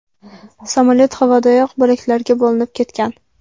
Samolyot havodayoq bo‘laklarga bo‘linib ketgan.